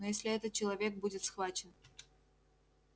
но если этот человек будет схвачен